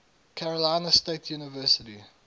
carolina state university